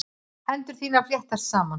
Hendur þínar fléttast saman.